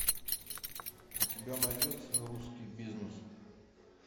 у тебя найдется русский бизнес